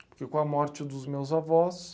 Porque com a morte dos meus avós...